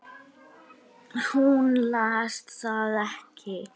Hún las það ekki.